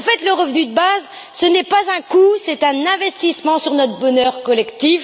vie. Au fait, le revenu de base, ce n'est pas un coût, c'est un investissement sur notre bonheur collectif.